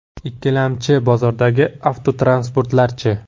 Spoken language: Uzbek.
Ikkilamchi bozordagi avtotransportlar-chi?